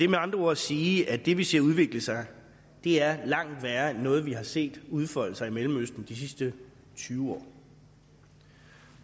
med andre ord sige at det vi ser udvikle sig er langt værre end noget vi har set udfolde sig i mellemøsten de sidste tyve år